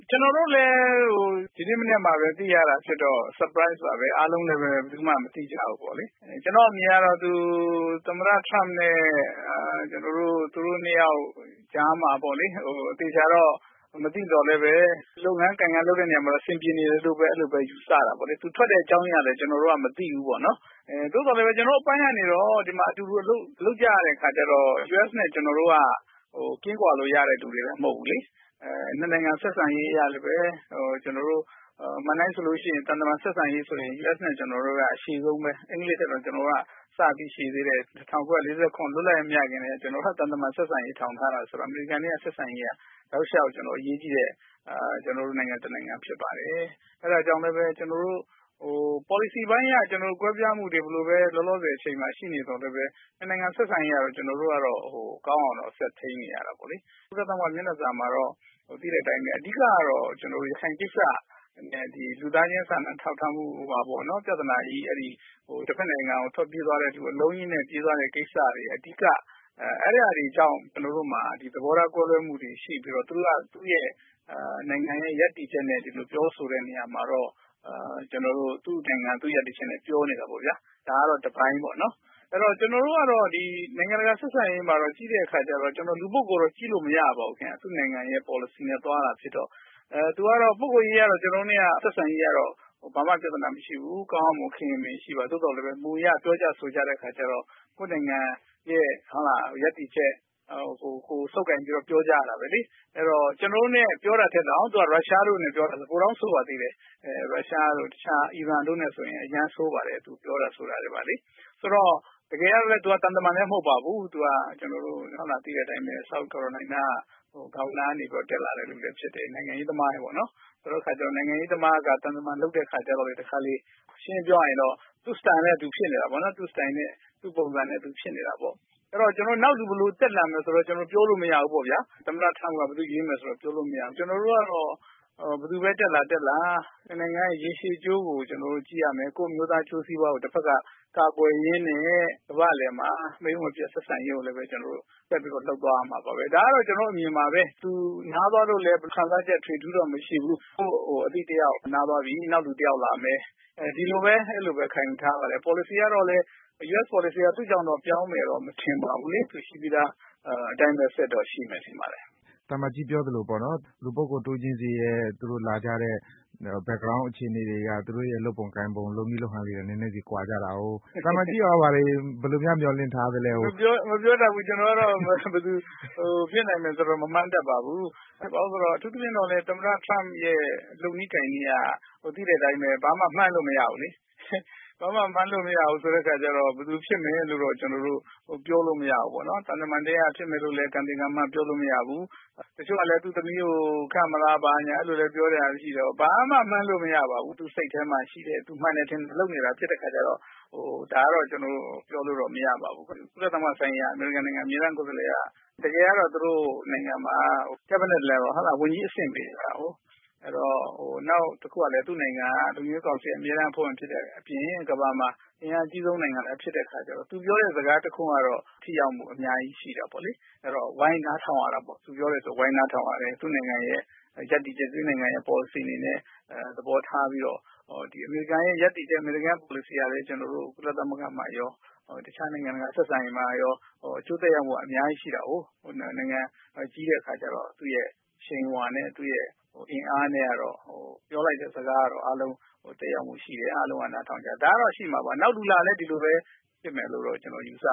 ကျနော်တို့လည်း ဒီနေ့မနက်မှပဲ သိရတာဖြစ်တော့ Surprise ပါပဲ အားလုံးလည်း ဘယ်သူမှ မသိကြဘူးပေါ့နော်။ ကျနော့်အမြင်ကတော့ သူ သမ္မတ Trump နဲ့ သူတို့ ၂ ယောက်ကြားမှာပေါ့နော်။ အသေအချာတော့ မသိသော်လည်း လုပ်ငန်းလုပ်တဲ့နေရာမှာတော့ အဆင်ပြေတယ်လို့ ယူဆရပါတယ်။ သူထွက်တဲ့အကြောင်းအရာကလည်း ကျနော်တို့ မသိဘူးပေါ့နော်။ သို့သော်လည်း ကျနော်တို့ အပိုင်းကနေပြီးတော့ ဒီမှာ အတူတူ အလုပ်လုပ်ကြရတဲ့ အခါကျတော့ US နဲ့ ကျနော်တု့ိက ကင်းကွာလို့ ရတဲ့လူတွေလည်းမဟုတ်ဘူးလေ။ ၂ နိုင်ငံဆက်ဆံရေး၊ သံတမန် ဆက်ဆံရေးဆိုလည်း US နဲ့ ကျနော်တု့ိက အရှည်ဆုံးပဲ ၊ အင်္ဂလိပ်ထက်တာင် ပိုရှည်သေးတယ်။ ၁၉၄၇ လွတ်လပ်ရေး မရခင်ကတည်းက သံတမန်ဆက်ဆံရေးထူထောင်ထားတာဆိုတော့ အမေရိကန်နဲ့ ဆက်ဆံရေးက တောက်လျောက်အရေးကြီးတဲ့ ကျနော်တို့အတွက် နိုင်ငံတနိုင်ငံဖြစ်ပါတယ်။ အဲဒါကြောင့် ပေါ်လစီပိုင်းအရ ကွဲပြားမှုတွေ ဘယ်လိုပဲ ရှိနေသော်လည်းပဲ ၂ နိုင်ငံဆက်ဆံရေးကတော့ ကောင်းအောင်ဆက်ထိန်းနေရတာပေါ့လေ။ ကုလသမဂ္ဂ မျက်နှာစာမှာတော့ သိတဲ့အတိုင်းပဲ။ အဓိကတော့ ရခိုင်ကိစ္စနဲ့ လူသားချင်းစာနာထောက်ထားမှု ပြဿနာကြီး တဖက်နိုင်ငံကို အလုံးအရင်းနဲ့ ထွက်ပြေးသွားတဲ့ကိစ္စတွေက အဓိက။ အဲတာတွေကြောင် ့ကျနော်တို့မှာ သဘောထားကွဲလွဲမှု ရှိပြီးတော့ သူတို့က သူတို့နိုင်ငံရပ်တည်ချက်နဲ့ ပြောဆိုတဲ့နေရာမှာတော့ သူနိုင်ငံ၊ သူတို့ရပ်တည်ချက်နဲ့ ပြောနေတာပေါ့ဗျာ။ ဒါကတော့ တပိုင်းပေါ့နော်။ အဲဒီတော့ ကျနော်တို့ ကတော့ နိုင်ငံတကာ ဆက်ဆံရေးမှာ ကြည့်တဲ့အခါကျတော့ ကျနော်တို့က လူပုဂ္ဂိုလ်နဲ့ ကြည့်လို့မရဘူး၊ သူ့ပေါ်လစီအတိုင်းသွားတာဖြစ်တော့။ သူကတော့ပုဂ္ဂိုလ်ရေးကတော့ ကျနော်တို့နဲ့ ဘာမှ ပြဿနာမရှိဘူး ကောင်းကောင်းမွန်မွန်ခင်ခင်မင်မင် ရှိပါတယ်။ သို့သော် မူအရပြောကြဆိုကြတဲ့အခါကျတော့ ကိုယ့်နိုင်ငံရပ်တည်ချက်နဲ့ ဆုပ်ကိုင်ပြီးတော့ ပြောကြရတာပဲလေ။ ကျနော်တို့နဲ့ ပြောတာထက်တောင် ရုရှား နဲ့ ပြောတာ ပိုတောင်ဆိုးပါသေးတယ်။ ရုရှားတို့ အီရန်တို့နဲ့ ဆိုရင် အရမ်းကို ဆိုးပါတယ်။ သူပြောတာဆိုတာတွေ။ ဆိုတော့ တကယ့်ကလည်း သူသံတမန်လည်းမဟုတ်ပါဘူး။ သူက သိတဲ့အတိုင်းပဲ South Carolina က governer ကနေပြီးတော့ တက်လာတဲ့လူလည်းဖြစ်တယ်။ နိုင်ငံရေးသမားပေါ့နော်။ ဆိုတဲ့အခါကျတော့ နိုင်ငံရေးသမားက သံတမန်လုပ်တဲ့အခါကျတော့ တခါတလေ ရှင်းရှင်းပြောရရင်တော့ သူ့ Style နဲ့ သူဖြစ်နေတာပေါ့နော်။ အဲဒီတော့ နောက်လူ ဘယ်လိုတက်လာမလဲဆိုတာ ပြောလို့မရဘူးပေါ့ဗျာ။ သမ္မတ Trump က ဘယ်သူ့ကို ရွေးမယ်ဆိုတာ ပြောလို့မရဘူး။ ကျနော်တို့ကတော ့ဘယ်သူပဲ တက်လာတက်လာ ၂ နိုင်ငံ ရည်ရှည်အကျိုးကို ကျနော်တို့ ကြည့်ရမယ် ကိုယ့်အမျိုးသားအကျိုးစီးပွားကို တဖက်က ကာကွယ်ရင်းနဲ့ ကမ္ဘာ့အလည်မှာ မိတ်မပျက်ဆက်ဆံရေးကိုလည်း ဆက်ပြီးလုပ်သွားရမယ်။ ဒါကတော့ ကျနော့်အမြင်ပါ များသောအားဖြင့် တခြားခံစားချက် ထွေထွေထူးထူးတော့မရှိဘူး ကိုယ့် အသိတယောက်နားသွားပြီ နောက်လူတယောက်လာမယ်။ ဒီလိုပဲ ခံယူထားပါတယ်။ ပေါ်လစီအရတော့လည်း US ပေါ်လစီက သူ့ကြောင့်ပြောင်းမယ်လို့ မထင်ပါဘူး။ အခုရှိပြီးသားအတိုင်းဆက်ပြီးတော့ ရှိမှာပါ။ သံအမတ်ကြီးပြောသလို လူပုဂ္ဂိုလ်တဦးချင်းဆီက လာကြတဲ့ သူတို့ Back ground အခြေအနေ အရ သူတို့လုပ်ပုံကိုင်ပုံ လုပ်နည်းလုပ်ဟန်လေးတွေက နည်းနည်းဆီ ကွာကြတာကို သံအမတ်ကြီးရော ဘယ်လိုများမျှော်လင့်ထားသလဲ။ မပြောတတ်ဘူး။ ကျနော်ကတော့ ဘယ်သူဖြစ်နိုင်မယ်ဆိုတာ မမှန်းတတ်ပါဘူး။ အထူးသဖြင့် သမ္မတ Trump ရဲ့ လုပ်နည်းကိုင်နည်းက သိတဲ့အတိုင်း ဘာမှ မှန်းလို့ မရဘူးလေ။ ဘာမှ မှန်းလို့ မရဘူးဆိုတဲ့အခါကျတော့ ဘယ်သူဖြစ်မယ်ဆိုတာ ပြောလို့မရဘူးပေါ့နော်။ သံတမန်ထဲကဖြစ်မယ်လို့လည်းပြောလို့မရဘူး၊ တချို့ကလည်း သူ့သမီးကို ခန့်မလားဆိုတာ ပြောတာရှိတယ်ပေါ့နော်။ ဘာမှ မှန်းလို့ မရဘူး။ သူစိတ်ထဲမှာ ရှိတဲ့ မှန်တယ်ထင်ရင် လုပ်နေတာ ဖြစ်တဲ့အခါကျတော့ ဒါကတော့ ကျနော်ပြောလို့မရဘူး။ ကုလသမဂ္ဂဆိုင်ရာ အမေရိကန်နိုင်ငံ အမြဲတမ်းကိုယ်စားလှယ်က တကယ်ကတော့ သူတို့ နိုင်ငံမှာ cabinet level ဝန်ကြီးအဆင့်ပေးတာကိုး၊ နောက်တခုက သူ့နိုင်ငံက လုံခြုံရေးကောင်စီ အမြဲတမ်းအဖွဲ့ဝင်နိုင်ငံ ဖြစ်တဲ့အပြင် ကမ္ဘာမှာ အင်အားအကြီးဆုံးနိုင်ငံလည်း ဖြစ်တဲ့အခါကျတော့ သူပြောတဲ့ စကားတခွန်းကတော့ ထိရောက်မှု အများကြီးရှိတာပေါ့လေ။ အဲဒီတော့ သူပြောတယ်ဆိုရင် ဝိုင်းနားထောင်ရတာပေါ့။ သူ့နိုင်ငံရပ်တည်ချက်၊ သူ့နိုင်ငံ ပေါ်လစီ သဘောထားပြီးတော့ အမေရိကန်နိုင်ငံရပ်တည်ချက်၊ အမေရိကန်နိုင်ငံ ပေါ်လစီ က ကျနော်တို့ ကုလသမဂ္ဂမှာရော တခြားနိုင်ငံတကာဆက်ဆံရေးမှာရော အကျိုးသက်ရောက်မှုက အများကြီးရှိတာကိုး။ နိုင်ငံကြီးတဲ့အခါကျတော့ သူ့အရှိန်အဝါနဲ့ သူ့အင်အားနဲ့ကတော့ ပြောလိုက်တဲ့ စကားကတော့ အားလုံးသက်ရောက်မှုရှိတယ်၊ အားလုံးနားထောင်ကြတယ် ဒါကတော့ ရှိမှာပါ။ နောက်လူ လာလည်း ဒီလိုဖြစ်မယ်လို့ ကျနေ်ာကတော့ ယူဆ